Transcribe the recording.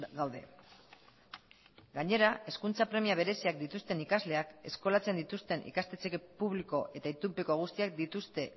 gaude gainera hezkuntza premia bereziak dituzten ikasleak eskolatzen dituzten ikastetxe publiko eta itunpeko guztiak dituzte